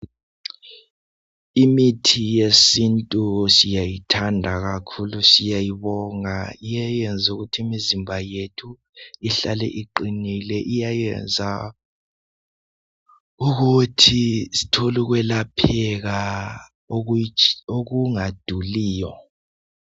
Imithi yesintu siyayithanda kakhulu siyayibonga iyayenzukuthi imizimba yethu ihlale iqinile, iyayenza ukuthi sithole ukwelapheka okungaduliyo.